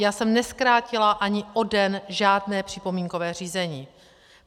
Já jsem nezkrátila ani o den žádné připomínkové řízení.